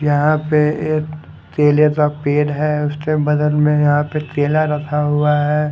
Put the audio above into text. यहां पे एक केले का पेड़ है उसके बगल में यहां पे केला रखा हुआ है।